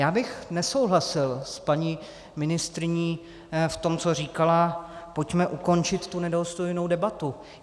Já bych nesouhlasil s paní ministryní v tom, co říkala: Pojďme ukončit tu nedůstojnou debatu.